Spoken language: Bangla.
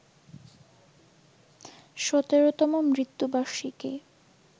১৭তম মৃত্যুবার্ষিকী